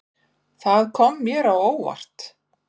Það kom mér á óvart.